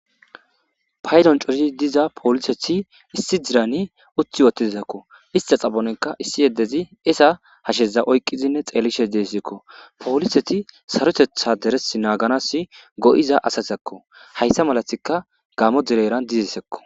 paydon corizi diza poolisethi issi dirani utti wottizizakko ista xabonenka issi yeddezi esa hasheza oykqizinne xeelishe deesekko powoliseti sarotetha deres naaganas go7iza asatakko hayssa malatika gaamo direran dizi sekko